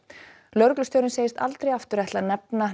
lögreglustjórinn segist aldrei aftur ætla að nefna